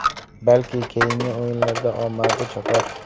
Balki keyingi o‘yinlarda omadi chopar.